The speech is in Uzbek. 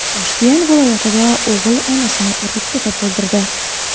Toshkent viloyatida o‘g‘il onasini urib-tepib o‘ldirdi.